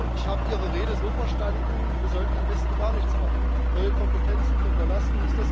Ich habe Ihre Rede so verstanden, wir sollten am besten gar nichts machen, neue Kompetenzen können wir lassen.